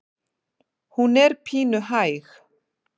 Hún er pínu hæg.